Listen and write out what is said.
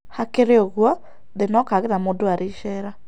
Hakĩrĩ ũgũo, thĩna ũkagĩra mũndũ arĩ ĩcera